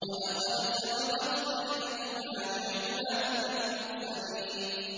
وَلَقَدْ سَبَقَتْ كَلِمَتُنَا لِعِبَادِنَا الْمُرْسَلِينَ